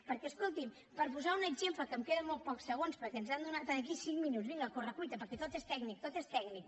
perquè escolti’m per posar un exemple que em queden molt pocs segons perquè ens han donat aquí cinc minuts vinga a correcuita perquè tot és tècnic tot és tècnic